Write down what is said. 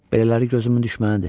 Belələri gözümün düşmənidir.